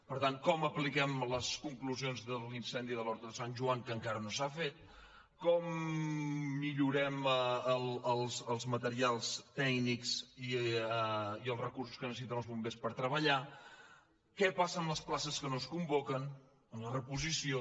per tant com apliquem les conclusions de l’incendi d’horta de sant joan que encara no s’ha fet com millorem els materials tècnics i els recursos que necessiten els bombers per treballar què passa amb les places que no es convoquen amb la reposició